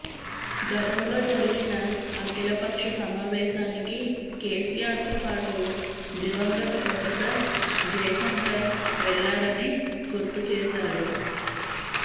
గతంలో జరిగిన అఖిల పక్ష సమావేశానికి కెసిఆర్తో పాటు దివంగత ప్రొఫెసర్ జయశంకర్ వెళ్లారని గుర్తు చేశారు